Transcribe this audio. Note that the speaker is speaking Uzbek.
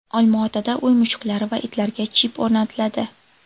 Olmaotada uy mushuklari va itlarga chip o‘rnatiladi.